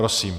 Prosím.